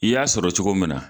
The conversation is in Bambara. I y'a sɔrɔ cogo min na.